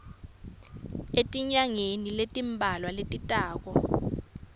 etinyangeni letimbalwa letitako